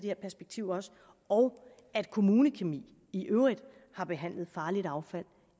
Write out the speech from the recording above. her perspektiv og og at kommunekemi i øvrigt har behandlet farligt affald